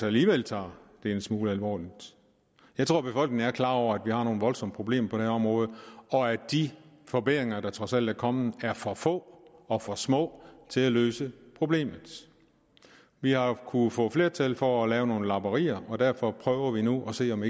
alligevel tager det en smule alvorligt jeg tror befolkningen er klar over at vi har nogle voldsomme problemer på det her område og at de forbedringer der trods alt er kommet er for få og for små til at løse problemet vi har jo kunnet få flertal for at lave nogle lapperier og derfor prøver vi nu at se om